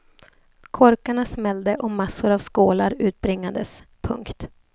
Korkarna smällde och massor av skålar utbringades. punkt